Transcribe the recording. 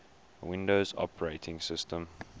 windows operating systems